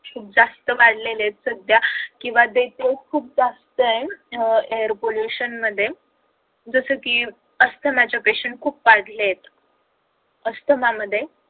खूप जास्त वाढलेले आहेत सध्या किंवा खूप जास्त आहे अह air pollution मध्ये जस कि अस्थमाचे patient खूप वाढलेत. अस्थमा मध्ये